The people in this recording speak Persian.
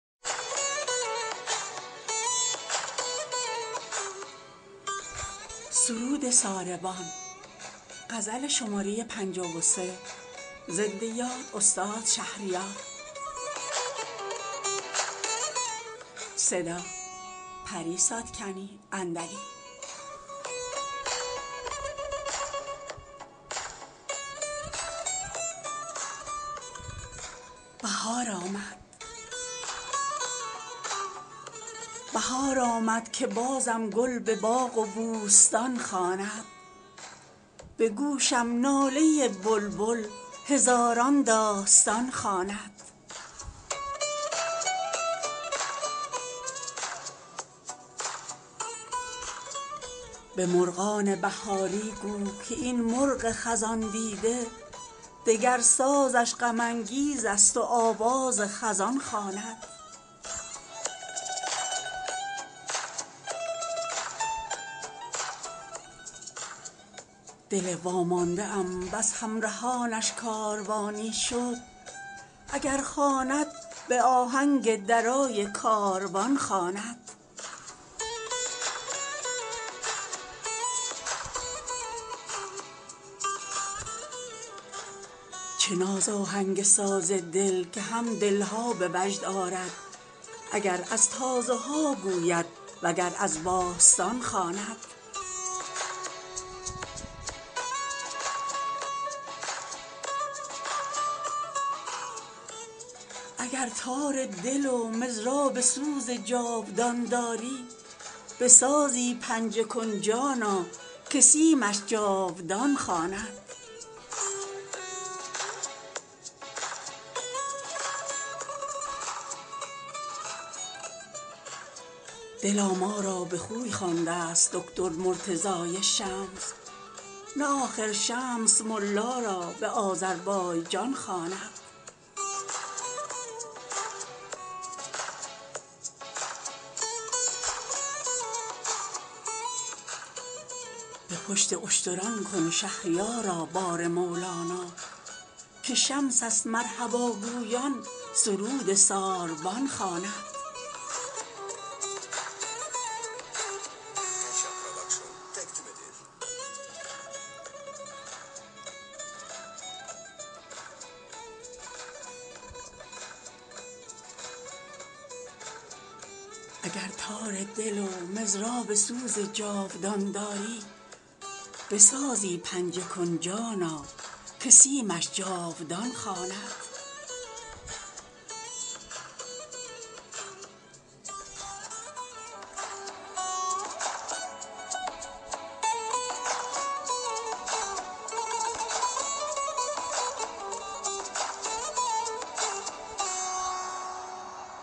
بهار آمد که بازم گل به باغ و بوستان خواند به گوشم ناله بلبل هزاران داستان خواند قفس بگشا و پروازش ده این بد طوطی خاموش که گلبانگ هم آوازش سوی هندوستان خواند به مرغان بهاری گو که این مرغ خزان دیده دگر سازش غم انگیز است و آواز خزان خواند دل وامانده ام بس همرهانش کاروانی شد اگر خواند به آهنگ درای کاروان خواند مگر پروانه مطرح بوده و شب های افسانه که شمع داستان ما را به جمع دوستان خواند چه دستانی ست با این گوژپشت پیر تاکستان که در در عالم مستیش سرو راستان خواند چه ناز آهنگ ساز دل که هم دل ها به وجد آرد اگر از تازه ها گوید و گر از باستان خواند هنوزت غنچه پیچیده است با این برگ ها چون گل کتابی کن که دل هم با زبان هم بی زبان خواند اگر تار دل و مضراب سوز جادوان داری به سازی پنجه کن جانا که سیمش جاودان خواند مگس را دست بر سر باد از آن خوان شکر یارب که طوطی را به قند لعل نوشین میهمان خواند دلا ما را به خوی خوانده است دکتر مرتضای شمس نه آخر شمس ملا را به آذربایجان خواند به پشت اشتران کن شهریارا بار مولانا که شمست مرحبا گویان سرود ساربان خواند